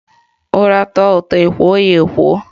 Ura tọọ ụtọ ekwo ya ekwo